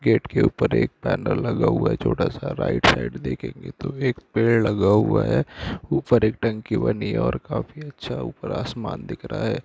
Gate के ऊपर एक पेनल लगा हुआ है छोटा सा राइट साइड देखेंगे तो एक पैड लगा हुआ है ऊपर एक टंकी बनी है और काफी अच्छा ऊपर आसमान दिख रहा है।